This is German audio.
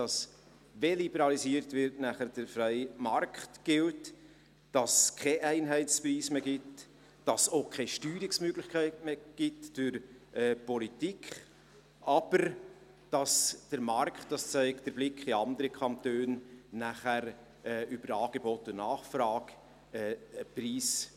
wenn liberalisiert wird, gilt dann der freie Markt –, dass es keinen Einheitspreis mehr gibt, dass es auch keine Steuerungsmöglichkeiten mehr gibt durch die Politik, aber dass sich nachher auf dem Markt ein Preis über Angebot und Nachfrage einpendelt.